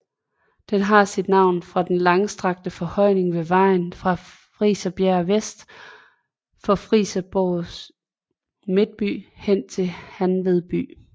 Den har sit navn fra den langstrakte forhøjning ved vejen fra Friserbjerg vest for Flensborgs midtby hen til Hanved by